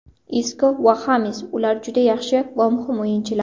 Isko va Xames Ular juda yaxshi va muhim o‘yinchilar.